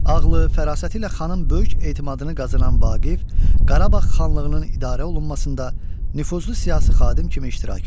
Ağılı, fərasəti ilə xanın böyük etimadını qazanan Vaqif Qarabağ xanlığının idarə olunmasında nüfuzlu siyasi xadim kimi iştirak edir.